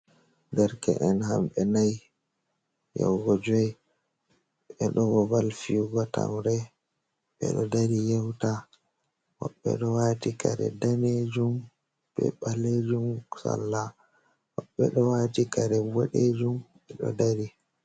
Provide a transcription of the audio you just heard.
Dereke'en hamɓe nayi yahugo joyi, ɓe ɗo babal fiyugo tamre, ɓe ɗo dari yewta. Woɓɓe ɗo waati kare daneejum be ɓaleejum salla, woɓɓe ɗo waati kare boɗeejum, ɓe ɗo dari.